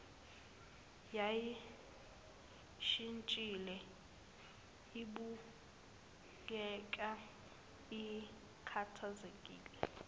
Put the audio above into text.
yayishintshile ibukeka ikhathazekile